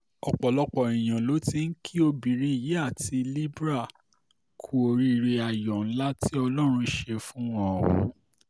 ọ̀pọ̀lọpọ̀ èèyàn ló ti ń kí obìnrin yìí àti libre kú oríire ayọ̀ ńlá tí ọlọ́run ṣe fún wọn ọ̀hún